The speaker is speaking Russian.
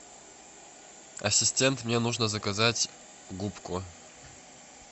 ассистент мне нужно заказать губку